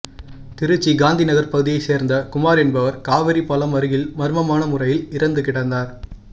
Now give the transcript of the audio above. திருச்சி காந்திநகர் பகுதியை சேர்ந்த குமார் என்பவர் காவேரி பாலம் அருகில்மர்மமான முறையில் இறந்து கிடந்தார்